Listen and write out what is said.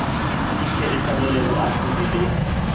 ka therisano le baahlodi le